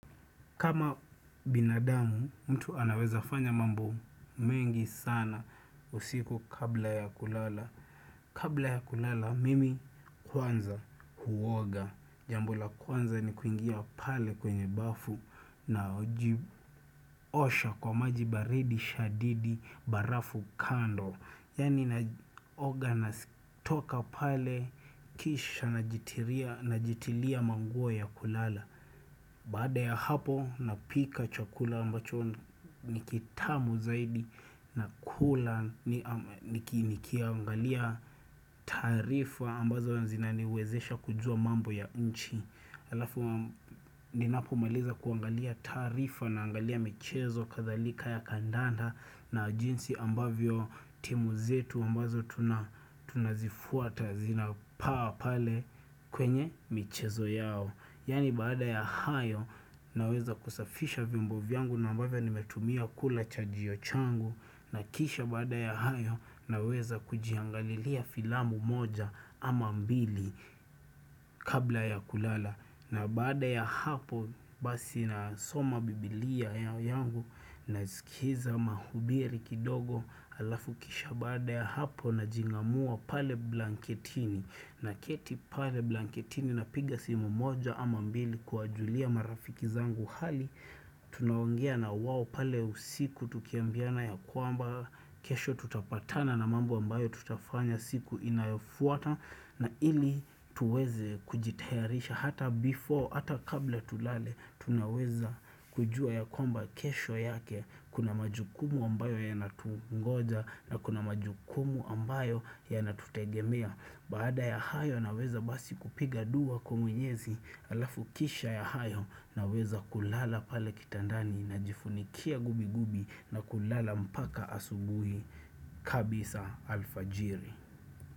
Kama binadamu, mtu anaweza fanya mambo mengi sana usiku kabla ya kulala. Kabla ya kulala, mimi kwanza huoga. Jambo la kwanza ni kuingia pale kwenye bafu, najiosha kwa maji baridi shadidi barafu kando. Yaani naoga natoka pale kisha najitilia manguo ya kulala. Baada ya hapo napika chakula ambacho nikitamu zaidi nakula nikiangalia taarifa ambazo zinaniwezesha kujua mambo ya nchi. Alafu ninapomaliza kuangalia taarifa naangalia michezo kadhalika ya kandanda na jinsi ambavyo timu zetu ambazo tunazifuata zinapaa pale kwenye michezo yao. Yaani baada ya hayo naweza kusafisha vyombo vyangu na ambavyo nimetumia kula chajio changu na kisha baada ya hayo naweza kujiangalilia filamu moja ama mbili kabla ya kulala, na baada ya hapo basi nasoma biblia yangu naskiza mahubiri kidogo alafu kisha baada ya hapo najing'amua pale blanketini, naketi pale blanketini na piga simu moja ama mbili kuwajulia marafiki zangu hali, tunaongea na wao pale usiku tukiambiana ya kwamba kesho tutapatana na mambo ambayo tutafanya siku inayofuata na ili tuweze kujitayarisha hata before, hata kabla tulale, tunaweza kujua ya kwamba kesho yake, kuna majukumu ambayo yanatungoja na kuna majukumu ambayo yanatutegemea. Baada ya hayo naweza basi kupiga dua kwa mwenyezi alafu kisha ya hayo naweza kulala pale kitandani najifunikia gubigubi na kulala mpaka asubuhi kabisa alfajiri.